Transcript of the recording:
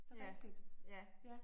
Ja, ja